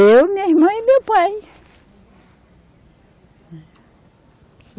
Eu, minha irmã e meu pai.